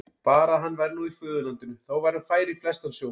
Bara að hann væri nú í föðurlandinu, þá væri hann fær í flestan sjó.